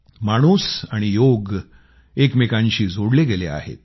माणूस आणि योग एकमेकांशी जोडले गेले आहेत